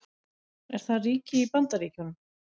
Er það ríki í Bandaríkjunum?